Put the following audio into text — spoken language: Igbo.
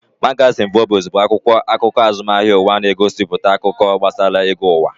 Magazin Forbes bụ akwụkwọ akụkọ azụmahịa ụwa, na-egosipụta akụkọ gbasara ego ụwa